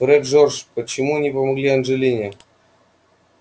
фред джордж почему не помогли анджелине